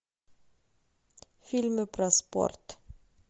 фильмы про спорт